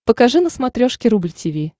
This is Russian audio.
покажи на смотрешке рубль ти ви